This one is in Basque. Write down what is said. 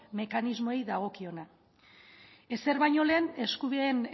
mekanismoei dagokiona ezer baino lehen eskubideen